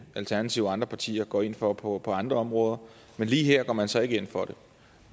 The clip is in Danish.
alternativet og andre partier går ind for på andre områder men lige her går man så ikke ind for det